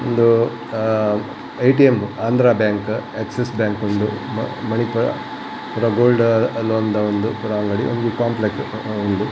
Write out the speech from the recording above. ಉಂದು ಆ ATM Andhra bank Axis bank ಉಂದು ಮ ಮಣಿಪುರ ಗೋಲ್ಡ್ ಲೋನ್ ದ ಉಂದು ಪೂರ ಅಂಗಡಿ ಉಂದು ಕಾಂಪ್ಲೆಕ್ಸ್ ಉಂಡು